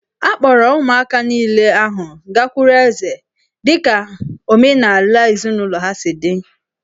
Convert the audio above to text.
A kpọọrọ ụmụaka niile ahụ gakwuru eze dị ka omenala ezinụlọ ha si dị